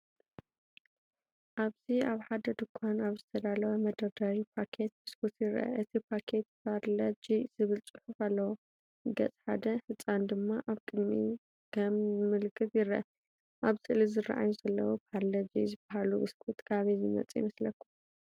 ኣብዚ ኣብ ሓደ ድኳን ኣብ ዝተዳለወ መደርደሪ ፓኬት ቢስኩት ይርአ። እቲ ፓኬት “ፓርለ-ጂ” ዝብል ጽሑፍ ኣለዎ፣ ገጽ ሓደ ህጻን ድማ ኣብ ቅድሚት ከም ምልክት ይረአ። ኣብ ስእሊ ዝርኣዩ ዘለዉ “ፓርለ-ጂ” ዝበሃሉ ቢስኩት ካበይ ዝመጹ ይመስለኩም?